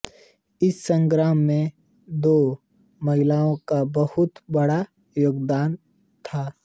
इस संग्राम में दो महिलाओं का बहुत बड़ा योगदान था